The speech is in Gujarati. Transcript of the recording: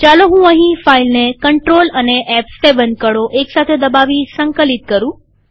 ચાલો હું આ ફાઈલને Ctrl અને ફ7 કળો એકસાથે દબાવી સંકલિત કરું